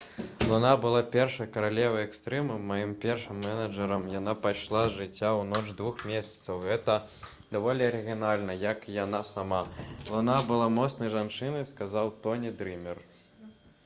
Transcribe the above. «луна была першай каралевай экстрыму. маім першым менеджэрам. яна пайшла з жыцця ў ноч двух месяцаў. гэта даволі арыгінальна як і яна сама. луна была моцнай жанчынай» — сказаў тоні дрымер